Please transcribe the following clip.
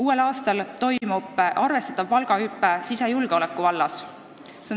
Uuel aastal toimub arvestatav palgahüpe sisejulgeoleku vallas.